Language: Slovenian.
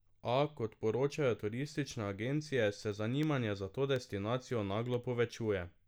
A, kot poročajo turistične agencije, se zanimanje za to destinacijo naglo povečuje.